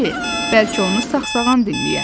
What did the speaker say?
bəlkə onu saxağan dinləyə.